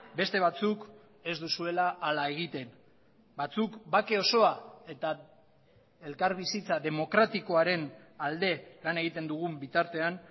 beste batzuk ez duzuela hala egiten batzuk bake osoa eta elkarbizitza demokratikoaren alde lan egiten dugun bitartean